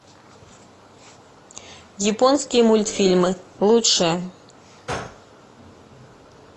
японские мультфильмы лучшее